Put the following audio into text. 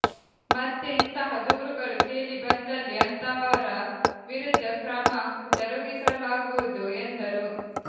ಮತ್ತೆ ಇಂತಹ ದೂರುಗಳು ಕೇಳಿ ಬಂದಲ್ಲಿ ಅಂತಹವರ ವಿರುದ್ಧ ಕ್ರಮ ಜರುಗಿಸಲಾಗುವುದು ಎಂದರು